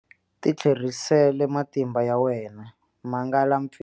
Titlherisele matimba ya wena, mangala mpfinyo